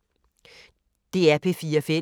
DR P4 Fælles